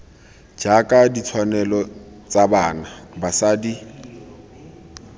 jaaka ditshwanelo tsa bana basadi